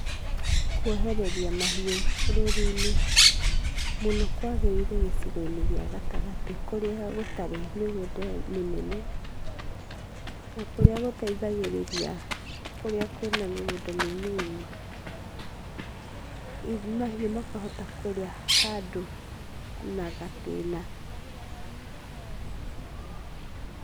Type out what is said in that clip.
Kuohereria mahiũ rũũru-inĩ mũno kwagĩrĩire gĩcigo gĩa gatagatĩ kũrĩa gũtarĩ mĩgũnda mĩnene na kũrĩa gũteithagĩrĩria kũrĩa kwĩ na mĩgũnda mĩnini. Mahiũ makahota kũrĩa handũ na gatĩna.